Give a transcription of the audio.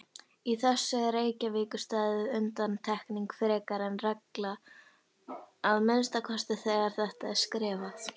Í þessu er Reykjavíkursvæðið undantekning frekar en regla, að minnsta kosti þegar þetta er skrifað.